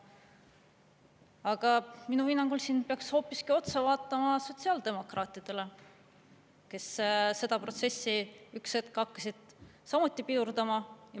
Aga minu hinnangul siin peaks hoopiski otsa vaatama sotsiaaldemokraatidele, kes seda protsessi üks hetk hakkasid samuti pidurdama.